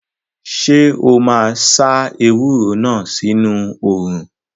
Ṣé o máa sá ewúro náà sínu òrùn?